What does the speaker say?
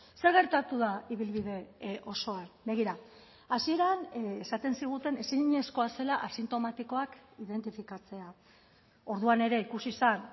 zer gertatu da ibilbide osoan begira hasieran esaten ziguten ezinezkoa zela asintomatikoak identifikatzea orduan ere ikusi zen